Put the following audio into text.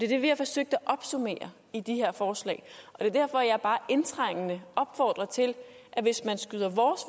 det vi har forsøgt at opsummere i de her forslag det er derfor jeg bare indtrængende opfordrer til at hvis man skyder vores